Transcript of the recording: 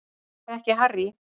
Ég þekki Harry